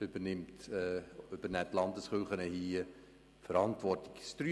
2020 übernehmen hier die Landeskirchen die Verantwortung.